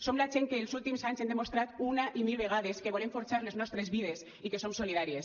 som la gent que els últims anys hem demostrat una i mil vegades que volem forjar les nostres vides i que som solidàries